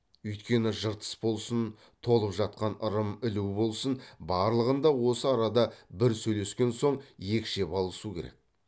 үйткені жыртыс болсын толып жатқан ырым ілу болсын барлығын да осы арада бір сөйлескен соң екшеп алысу керек